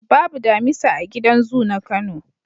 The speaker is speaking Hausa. Babu damisa a gidan zu na Kano.